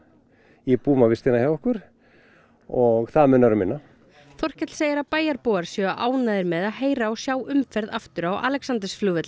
íbúum á vistina hjá okkur og það munar um minna Þorkell segir að séu ánægðir með að heyra og sjá umferð aftur á Alexandersflugvelli